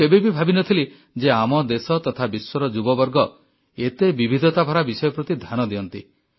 ମୁଁ କେବେ ବି ଭାବିନଥିଲି ଯେ ଆମ ଦେଶ ତଥା ବିଶ୍ୱର ଯୁବବର୍ଗ ଏତେ ବିବିଧତାଭରା ବିଷୟ ପ୍ରତି ଧ୍ୟାନ ଦିଅନ୍ତି